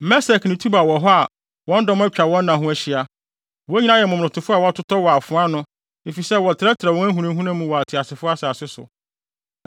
“Mesek ne Tubal wɔ hɔ a wɔn dɔm atwa wɔn nna ho ahyia. Wɔn nyinaa yɛ momonotofo a wɔatotɔ wɔ afoa ano efisɛ wɔtrɛtrɛw wɔn ahunahuna mu wɔ ateasefo asase so.